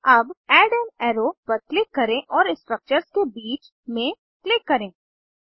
अब add an arrow पर click करें और स्ट्रक्चर्स के बीच में क्लिक करें